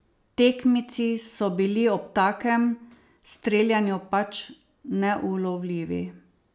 Tekmeci so bili ob takem streljanju pač neulovljivi.